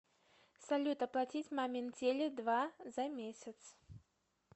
салют оплатить мамин теле два за месяц